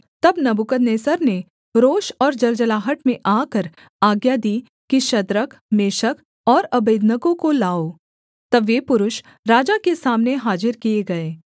तब नबूकदनेस्सर ने रोष और जलजलाहट में आकर आज्ञा दी कि शद्रक मेशक और अबेदनगो को लाओ तब वे पुरुष राजा के सामने हाजिर किए गए